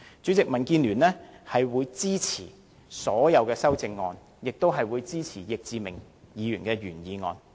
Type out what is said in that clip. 主席，民建聯會支持所有修正案，亦會支持易志明議員的原議案。